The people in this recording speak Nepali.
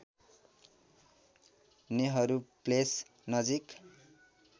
नेहरू प्लेस नजिक